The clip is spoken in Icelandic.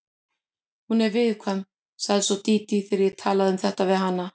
Hún er viðkvæm, sagði svo Dídí þegar ég talaði um þetta við hana.